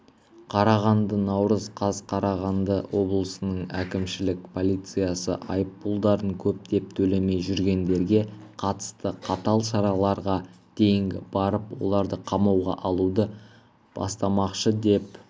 қарағанды наурыз қаз қарағанды облысының әкімшілік полициясы айыппұлдарын көптеп төлемей жүргендерге қатысты қатал шараларға дейін барып оларды қамауға алуды бастамақшы деп